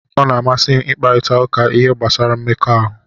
Ọ na-amasị m ịkparịta ụka n'ihe gbasara mmekọahụ